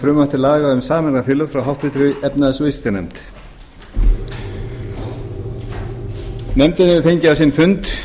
til laga um sameignarfélög frá háttvirtri efnahags og viðskiptanefnd nefndin hefur fengið á sinn fund